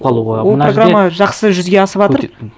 ол программа жақсы жүзеге асыватыр